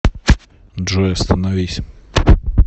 джой остановись